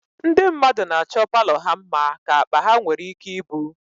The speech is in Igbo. Ndị mmadụ na-achọ palọ ha mma ka akpa ha nwere ike ibu